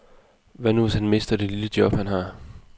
Hvad nu, hvis han mister det lille job, han har?